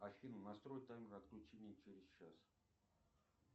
афина настрой таймер отключения через час